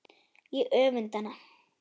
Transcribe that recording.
Ég öfunda hana.